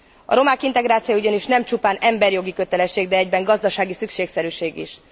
A romák integrációja ugyanis nem csupán emberijogi kötelesség, de egyben gazdasági szükségszerűség is.